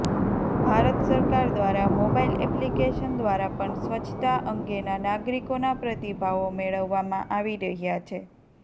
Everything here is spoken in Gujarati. ભારત સરકાર દ્વારા મોબાઈલ એપ્લીકેશન દ્વારા પણ સ્વચ્છતા અંગેના નાગરીકોના પ્રતિભાવો મેળવવામાં આવી રહ્યા છે